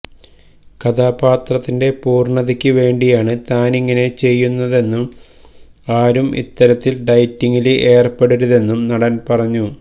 കഥാപാത്രത്തിന്റെ പൂര്ണതയ്ക്ക് വേണ്ടിയാണ് താനിങ്ങനെ ചെയ്യുന്നതെന്നും ആരും ഇത്തരത്തില് ഡയറ്റിങ്ങില് ഏര്പ്പെടരുതെന്നും നടന് പറഞ്ഞു